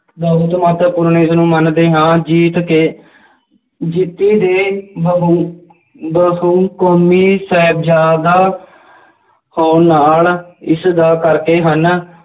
ਬਹੁਤ ਮਹੱਤਵਪੂਰਨ ਇਸਨੂੰ ਮੰਨਦੇ ਹਾਂ ਜੀਤ ਕੇ ਬਹੁਕੌਮੀ ਸਾਹਿਬਜ਼ਾਦਾ ਇਸਦਾ ਕਰਕੇ ਹਨ